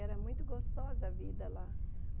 Era muito gostosa a vida lá.